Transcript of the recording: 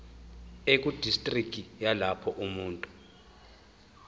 ekudistriki yalapho umuntu